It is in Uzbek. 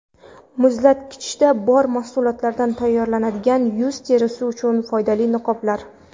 Muzlatkichda bor mahsulotlardan tayyorlanadigan yuz terisi uchun foydali niqoblar.